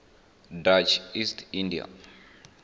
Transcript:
dutch east india